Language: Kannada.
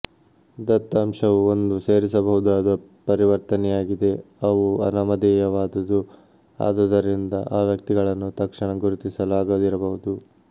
ದತ್ತಾಂಶವು ಒಂದು ಸೇರಿಸಬಹುದಾದ ಪರಿವರ್ತನೆಯಾಗಿದೆ ಅವು ಅನಾಮಧೇಯವಾದುವು ಆದುದರಿಂದ ಆ ವ್ಯಕ್ತಿಗಳನ್ನು ತಕ್ಷಣ ಗುರುತಿಸಲು ಆಗದಿರಬಹುದು